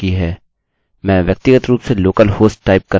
मैं व्यक्तिगत रूप से local host टाइप करना पसंद करता हूँ